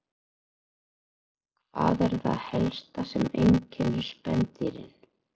Hvað er það helsta sem einkennir spendýrin?